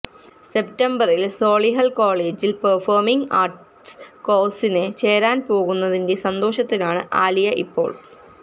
സെപ്റ്റംബറിൽ സോളിഹൾ കോളേജിൽ performing arts കോഴ്സിന് ചേരാൻ പോകുന്നതിന്റെ സന്തോഷത്തിലാണ് ആലിയ ഇപ്പോൾ